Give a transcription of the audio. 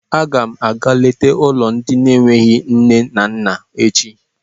A ga m àgá léta ụlọ ndị n'enweghị nne na nna echi